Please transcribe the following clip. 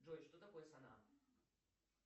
джой что такое сонам